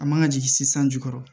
An man ka jigin se sanji kɔrɔ